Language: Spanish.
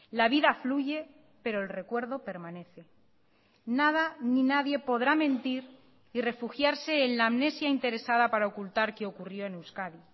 la vida fluye pero el recuerdo permanece nada ni nadie podrá mentir y refugiarse en la amnesia interesada para ocultar qué ocurrió en euskadi